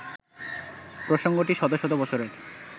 প্রসঙ্গটি শত শত বছরের